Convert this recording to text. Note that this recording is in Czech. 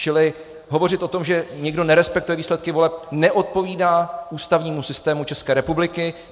Čili hovořit o tom, že někdo nerespektuje výsledky voleb, neodpovídá ústavnímu systému České republiky.